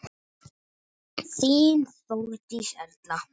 Þín Þórdís Erla.